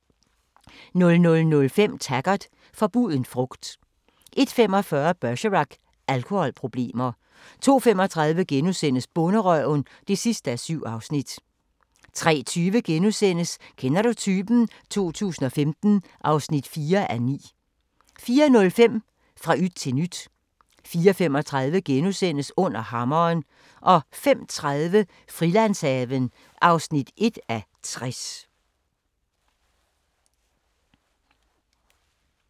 00:05: Taggart: Forbuden frugt 01:45: Bergerac: Alkoholproblemer 02:35: Bonderøven (7:7)* 03:20: Kender du typen? 2015 (4:9)* 04:05: Fra yt til nyt 04:35: Under Hammeren * 05:30: Frilandshaven (1:60)